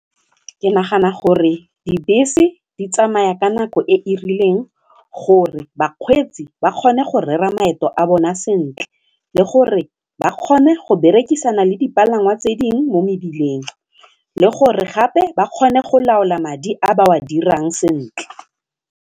Ke nagana gore dibese di tsamaya ka nako e e rileng gore bakgweetsi ba kgone go rera maeto a bona sentle le gore ba kgone go berekisana le dipalangwa tse dingwe mo mebileng le gore gape ba kgone go laola madi a ba wa dirang sentle.